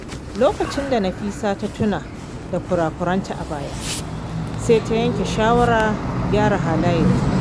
Lokacin da Nafisa ta tuna da kurakuranta a baya, sai ta yanke shawarar gyara halayenta.